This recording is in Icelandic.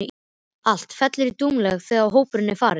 Allt fellur í dúnalogn þegar hópurinn er farinn.